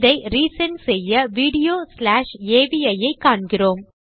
இதை re send செய்ய video slash அவி ஐ காண்கிறோம்